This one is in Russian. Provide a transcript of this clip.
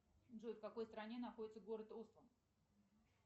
джой в какой стране находится город осло